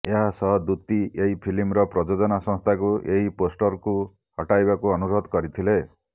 ଏହାସହ ଦୂତି ଏହି ଫିଲ୍ମର ପ୍ରଯୋଜନା ସଂସ୍ଥାକୁ ଏହି ପୋଷ୍ଟରକୁ ହଟାଇବାକୁ ଅନୁରୋଧ କରିଥିଲେ